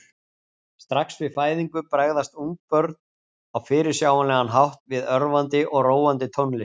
Strax við fæðingu bregðast ungbörn á fyrirsjáanlegan hátt við örvandi og róandi tónlist.